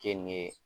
Ke n'i ye